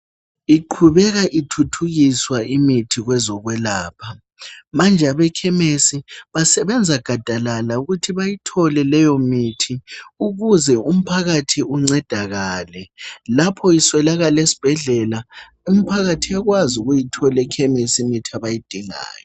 Iqhubeka ithuthukiswa imithi kwezokwelapha. Manje abekhemisi basebenza gadalala ukuthi bayithole leyomithi ukuze umphakathi uncedakale lapho iswelakala esibhedlela umphakathi uyakwazi ukuyithola ekhemesi imithi abayidingayo.